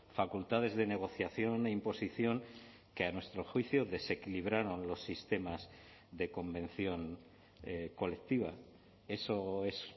facultades de negociación e imposición que a nuestro juicio desequilibraron los sistemas de convención colectiva eso es